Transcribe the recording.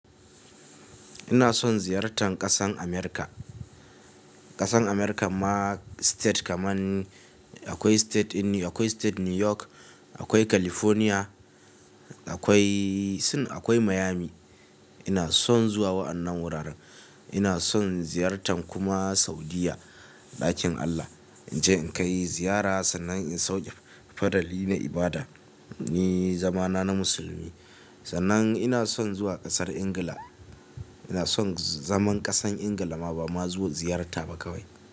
Ina son ziyartan ƙasan Amurka. Ƙasan Amurka ma state kaman akwai state New York, akwai California, akwai Miami. Ina son zuwa wa'annan wuraren. Ina son ziyartan kuma Saudiyya ɗakin Allah. Inje in kai ziyara sannan in sauke farali na ibada, ni zamana na musulmi. Sannan ina son zuwa ƙasar Ingila. Ina son zaman ƙasan Ingila ma ba ma zuwa ziyarta ba kawai.